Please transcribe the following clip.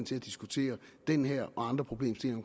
til at diskutere den her og andre problemstillinger